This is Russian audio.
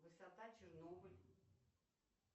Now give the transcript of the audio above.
высота чернобыль